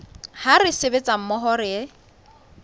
ha re sebetsa mmoho re